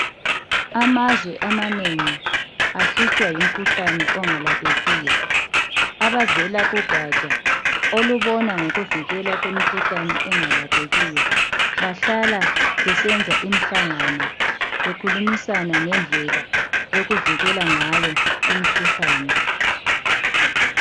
Amazwe amanengi ahlutshwa yimkhuhlane ongalaphekiyo ,abavela kugatsha olubona ngokuvikelwa kwemikhuhlane engalaphekiyo bahlala besenza imihlangano bekhulumisana ngendlela yokuvikela ngayo imkhuhlane